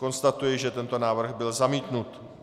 Konstatuji, že tento návrh byl zamítnut.